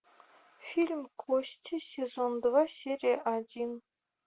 фильм кости сезон два серия один